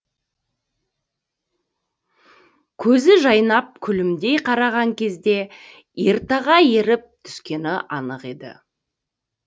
көзі жайнап күлімдей қараған кезде ертаға еріп түскені анық еді